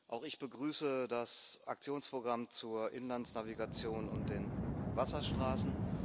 Auch ich begrüße das Aktionsprogramm zur Inlandsnavigation und den Wasserstraßen.